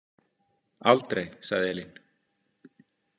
Aldrei, sagði Elín.